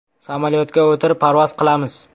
Samolyotga o‘tirib, parvoz qilamiz.